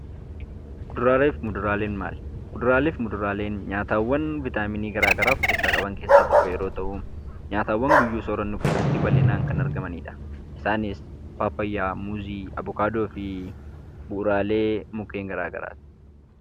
Kuduraalee fi muduraaleen maali? Kuduraalee fi muduraaleen nyaatawwan vitaaminii garaa garaa of keessaa qaban keessaa tokko yeroo ta'u, nyaatawwan guyyuu soorannu keessatti bal'inaan kan argamanidha. Isaanis paappaayyaa, muuzii, avokaadoo fi bu'uuraalee mukkeen garaa garaati.